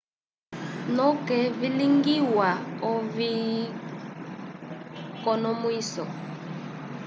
noke vilwigwiwa oviconomwiso